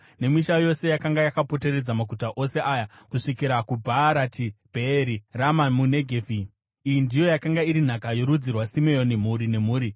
nemisha yose yakanga yakapoteredza maguta ose aya kusvikira kuBhaarati Bheeri (Rama muNegevhi). Iyi ndiyo yakanga iri nhaka yorudzi rwavaSimeoni, mhuri nemhuri.